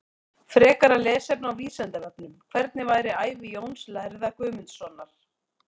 Frekara lesefni á Vísindavefnum: Hvernig var ævi Jóns lærða Guðmundssonar?